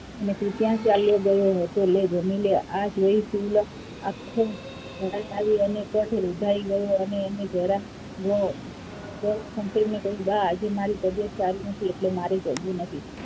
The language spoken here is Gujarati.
અને તું ક્યાં ચાલ્યો ગયો હતો લે જામી લે, આ જોઈ શિવલો આખો કઠ રૂધાઇ ગયો અને એને જરા સ્વકમ્પે કહ્યું કે બા આજે મારી તબિયત સારી નથી એટલે મારે જમવું નથી.